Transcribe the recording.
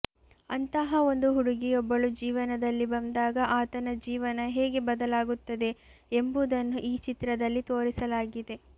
ಅಂತಹ ಒಂದು ಹುಡುಗಿಯೊಬ್ಬಳು ಜೀವನದಲ್ಲಿ ಬಂದಾಗ ಆತನ ಜೀವನ ಹೇಗೆ ಬದಲಾಗುತ್ತದೆ ಎಂಬುದನ್ನು ಈ ಚಿತ್ರದಲ್ಲಿ ತೋರಿಸಲಾಗಿದೆ